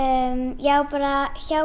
já bara hjá